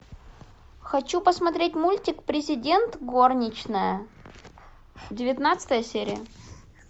хочу посмотреть мультик президент горничная девятнадцатая серия